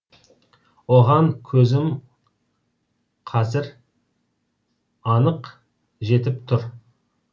оған көзім қазір анық жетіп тұр